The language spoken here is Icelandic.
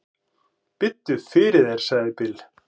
"""Biddu fyrir þér, sagði Bill."""